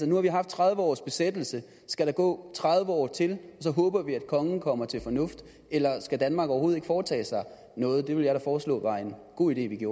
nu har vi haft tredive års besættelse skal der gå tredive år til og så håber vi at kongen kommer til fornuft eller skal danmark overhovedet ikke foretage sig noget det ville jeg da foreslå var en god idé